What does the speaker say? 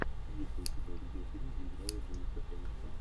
есть ли у тебя видеофильм где играла дженнифер энистон